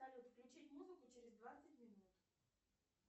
салют включить музыку через двадцать минут